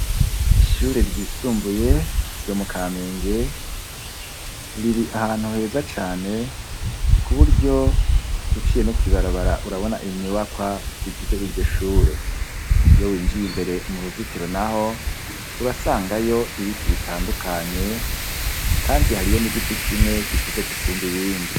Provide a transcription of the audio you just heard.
Ishure ryisumbuye ryo mu kamenge riri ahantu heza cane ku buryo uciye no kwibarabara urabona inyubakwa zigize iryo shure iyo winjiye imbere mu ruzitiro, naho urasangayo ibiti bitandukanye, kandi hariyo n'igiti ki mwe gikuze gusumba ibindi.